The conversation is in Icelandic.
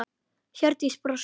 Hjördís brosti.